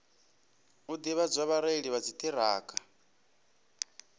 u ḓivhadza vhareili vha dziṱhirakha